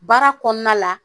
Baara kɔɔna la